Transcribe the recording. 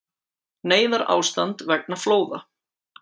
Neyðarástand vegna flóða